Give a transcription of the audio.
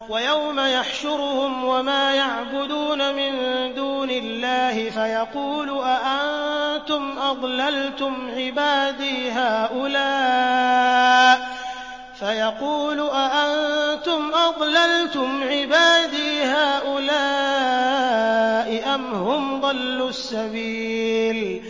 وَيَوْمَ يَحْشُرُهُمْ وَمَا يَعْبُدُونَ مِن دُونِ اللَّهِ فَيَقُولُ أَأَنتُمْ أَضْلَلْتُمْ عِبَادِي هَٰؤُلَاءِ أَمْ هُمْ ضَلُّوا السَّبِيلَ